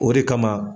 O de kama